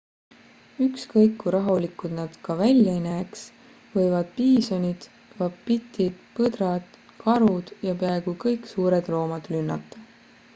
ükskõik kui rahulikud nad ka välja ei näeks võivad piisonid vapitid põdrad karud ja peaaaegu kõik suured loomad rünnata